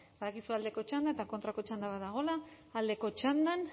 badakizue aldeko txanda eta kontrako txanda bat dagoela aldeko txandan